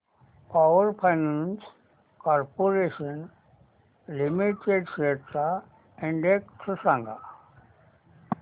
power finance corporation limited shares चा index सांगा